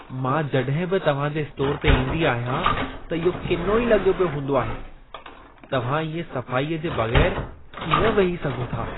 मां जड॒हिं बि तव्हांजे स्टोरु ते ईंदी आहियां त इहो किनो ई लॻो पियो हूंदो आहे। तव्हां इएं सफ़ाई जे बगै़रु कीअं वेही सघो था ?